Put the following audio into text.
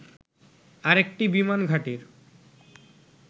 আরেকটি বিমান ঘাঁটির